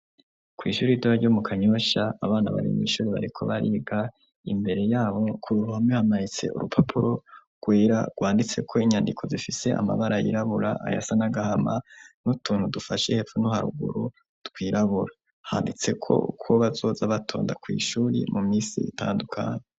Kw'ishuri ritoya ryo mu Kanyosha, abana bari mw'ishure bariko bariga, imbere yabo k'uruhome, hamaritse urupapuro rwera rwanditseko inyandiko zifise amabara yirabura, ayasa n'agahama, n'utuntu dufashe hepfo no haruguru twirabura, handitseko uko bazoza batonda kw'ishure mu misi itandukanye.